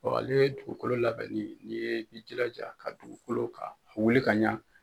ale dugukolo labɛnni n'i ye i jilaja ka dugukolo ka a wuli ka ɲa.